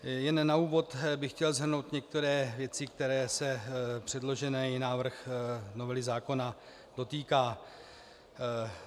Jen na úvod bych chtěl shrnout některé věci, kterých se předložený návrh novely zákona dotýká.